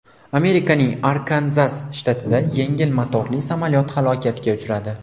Amerikaning Arkanzas shtatida yengil motorli samolyot halokatga uchradi.